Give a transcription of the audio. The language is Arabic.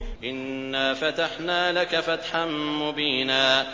إِنَّا فَتَحْنَا لَكَ فَتْحًا مُّبِينًا